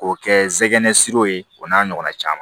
K'o kɛ zɛnɛsiriw ye o n'a ɲɔgɔnna caman